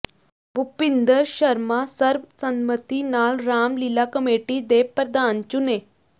ਭੁਪਿੰਦਰ ਸ਼ਰਮਾ ਸਰਬਸੰਮਤੀ ਨਾਲ ਰਾਮ ਲੀਲਾ ਕਮੇਟੀ ਦੇ ਪ੍ਰਧਾਨ ਚੁਣੇ